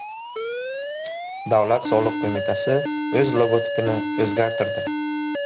Davlat soliq qo‘mitasi o‘z logotipini o‘zgartirdi .